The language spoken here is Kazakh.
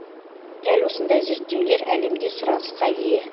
дәл осындай зерттеулер әлемде сұранысқа ие